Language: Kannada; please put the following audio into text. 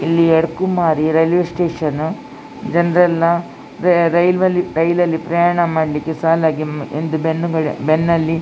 ಇಲ್ಲಿ ಎಡ್ ಕುಮಾರಿ ರೈಲ್ವೆ ಸ್ಟೇಷನ್ ಜನರೆಲ್ಲಾ ರೈಲ್ ಅಲ್ಲಿ ಪ್ರಯಾಣ ಮಾಡ್ಲಿಕ್ಕೆ ಸಾಲಾಗಿ ಬೆನ್ನುಗಳ ಬೆನ್ನಲ್ಲಿ --